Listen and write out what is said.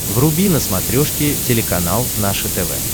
вруби на смотрешке телеканал наше тв